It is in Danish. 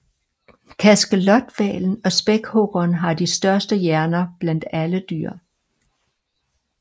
Kaskelothvalen og spækhuggeren har de største hjerner blandt alle dyr